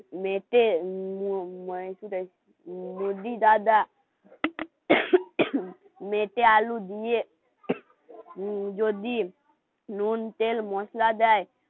বৌদি দাদা মেটে আলু দিয়ে যদি নুন তেল মশলা দেয়